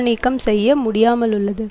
நீக்கம் செய்ய முடியாமலுள்ளது